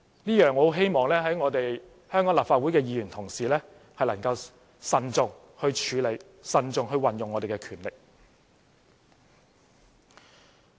我十分希望香港立法會的議員同事能夠慎重處理、慎重運用我們的權力。